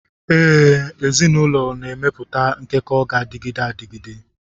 Ee, ezinụlọ ga-emepụta nkekọ na-adịgide adịgide.